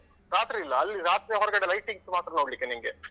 ರಾತ್ರಿ ಇಲ್ಲ ಅಲ್ಲಿ ರಾತ್ರಿ ಹೊರಗಡೆ lightings ಮಾತ್ರ ನೋಡ್ಲಿಕ್ಕೆ ನಿನ್ಗೆ.